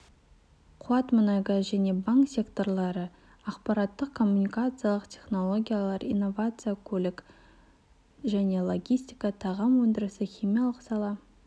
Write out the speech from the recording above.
қуат мұнай-газ және банк секторлары ақпараттық-коммуникациялық технологиялар инновация көлік және логистика тағам өндірісі химиялық сала